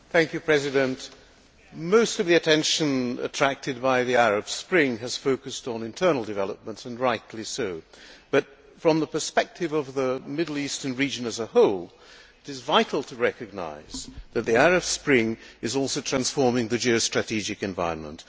Mr President, most of the attention attracted by the Arab Spring has focused on internal developments, and rightly so, but from the perspective of the Middle Eastern region as a whole, it is vital to recognise that the Arab Spring is also transforming the geostrategic environment.